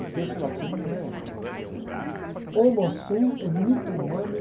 O texto latino não é assim, não sei se é...